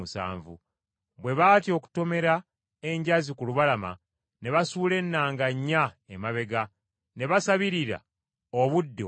Bwe baatya okutomera enjazi ku lubalama ne basuula ennanga nnya emabega, ne basabirira obudde okukya.